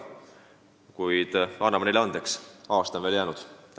Kuid anname neile andeks, aasta on veel jäänud.